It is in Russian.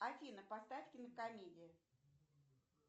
афина поставь кинокомедии